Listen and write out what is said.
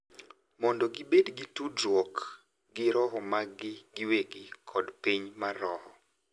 mondo gibed gi tudruok gi roho maggi giwegi kod piny mar roho.